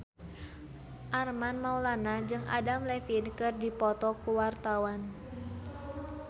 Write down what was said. Armand Maulana jeung Adam Levine keur dipoto ku wartawan